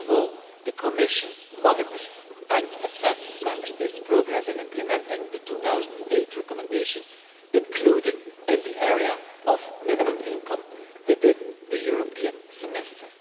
First of all, the Commission monitors and assesses Member States' progress in implementing the 2008 recommendation, including in the area of minimum income within the European semester.